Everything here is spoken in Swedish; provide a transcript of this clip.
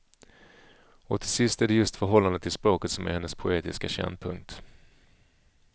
Och till sist är det just förhållandet till språket som är hennes poetiska kärnpunkt.